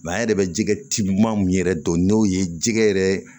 an yɛrɛ bɛ jɛgɛ ci maa min yɛrɛ dɔn n'o ye jɛgɛ yɛrɛ ye